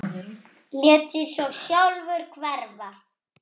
Lét sig svo sjálfur hverfa.